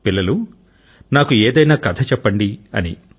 పిల్లలూ నాకు ఏదైనా కథ చెప్పండి అని